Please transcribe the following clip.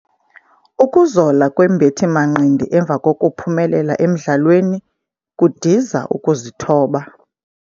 Ukuzola kwembethi-manqindi emva kokuphumelela emdlalweni kudiza ukuzithoba.